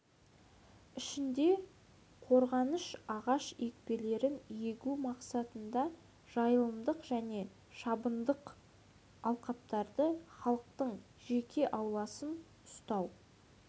ішінде қорғаныш ағаш екпелерін егу мақсатында жайылымдық және шабындық алқаптарды халықтың жеке ауласын ұстау және